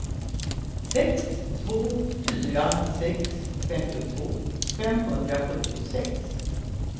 sex två fyra sex femtiotvå femhundrasjuttiosex